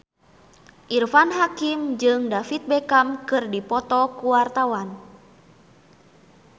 Irfan Hakim jeung David Beckham keur dipoto ku wartawan